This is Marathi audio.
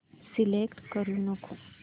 सिलेक्ट करू नको